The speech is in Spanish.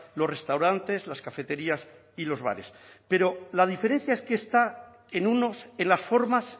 los restaurantes las cafeterías y los bares pero la diferencia es que está en unos en las formas